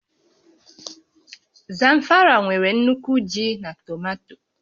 Zamfara nwere nnukwu ji na tomato